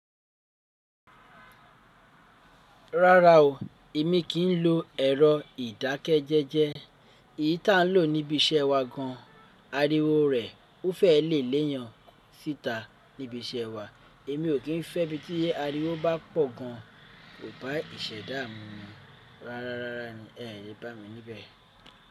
Rárá o, èmi kì í lo ẹ̀rọ ìdákẹ́jẹ́jẹ́. Èyí ta lò níbi iṣẹ́ wa gan, ariwo rẹ̀ ó fẹ́ lè léèyan síta níbi iṣẹ́ wa. Èmi o kín fẹ́ bí tí ariwo bá pọ̀ gan, kò bá ìṣẹ̀dá mi mú. Rárá, rárá ni ẹ lè bá mi níbẹ̀